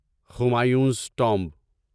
Humayun's tomb